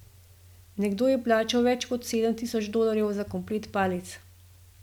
Nekdo je plačal več kot sedem tisoč dolarjev za komplet palic.